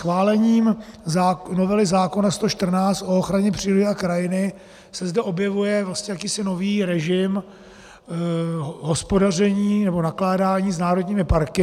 Schválením novely zákona 114 o ochraně přírody a krajiny se zde objevuje vlastně jakýsi nový režim hospodaření nebo nakládání s národními parky.